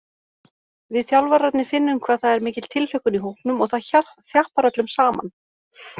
Við þjálfararnir finnum hvað það er mikil tilhlökkun í hópnum og það þjappar öllum saman.